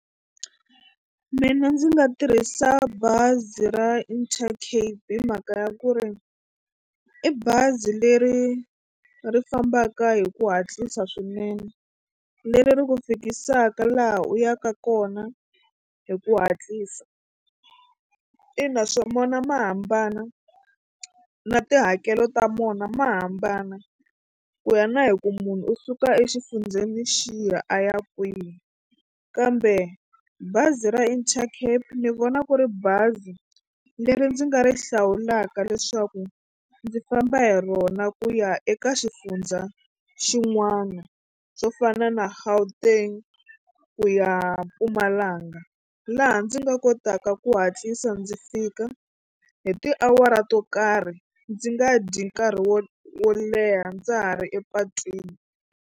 Mina ndzi nga tirhisa bazi ra Intercape hi mhaka ya ku ri i bazi leri ri fambaka hi ku hatlisa swinene leri ri ku fikisaka laha u yaka kona hi ku hatlisa. Ina swo mona ma hambana na tihakelo ta mona ma hambana ku ya na hi ku munhu u suka exifundzeni xiya a ya kwihi kambe bazi ra Intercape ni vona ku ri bazi leri ndzi nga ri hlawulaka leswaku ndzi famba hi rona ku ya eka xifundza xin'wana swo fana na Gauteng ku ya Mpumalanga laha ndzi nga kotaka ku hatlisa ndzi fika hi tiawara to karhi ndzi nga dyi nkarhi wo wo leha ndza ha ri epatwini.